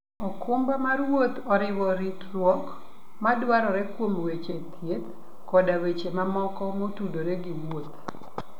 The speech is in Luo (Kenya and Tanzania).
okumba mar wuoth oriwo ritruok madwarore kuom weche thieth koda weche mamoko motudore gi wuoth.